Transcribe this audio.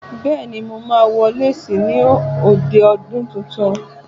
Bẹ́ẹ̀ ni, mo máa wọ léésì ní òde ọdún tuntun.